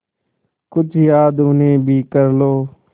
कुछ याद उन्हें भी कर लो